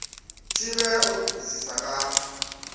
thivhelwa u todisisa nga ha